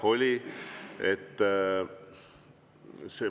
Jah, oli.